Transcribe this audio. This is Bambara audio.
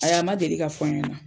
Ayi a ma deli ka fɔ n ɲɛna.